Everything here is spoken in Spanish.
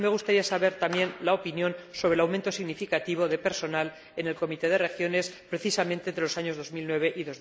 Y me gustaría conocer la opinión sobre el aumento significativo de personal en el Comité de las Regiones precisamente entre los años 2009 y